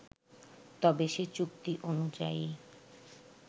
তবে সে চুক্তি অনুযায়ী